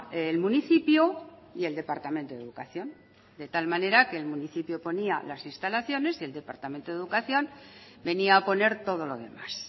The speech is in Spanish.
el municipio y el departamento de educación de tal manera que el municipio ponía las instalaciones y el departamento de educación venía a poner todo lo demás